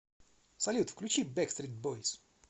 салют включи бэкстрит бойс